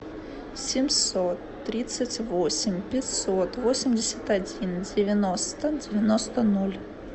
семьсот тридцать восемь пятьсот восемьдесят один девяносто девяносто ноль